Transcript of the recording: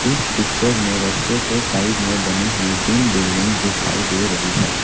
इस पिक्चर में रस्ते के साइड में बनी हुई तीन बिल्डिंग्स दिखाई दे रही है।